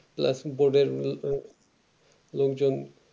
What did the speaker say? plus এর মিও লগ যে